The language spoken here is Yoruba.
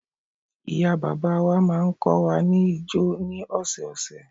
Ìyá bàbá wa máa ń kọ́ wa ni ijó ni ọ̀sẹ̀ ọ̀sẹ̀